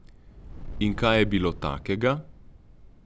In kaj je bilo takega?